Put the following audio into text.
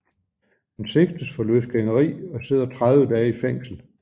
Han sigtes for løsgængeri og sidder 30 dage i fængsel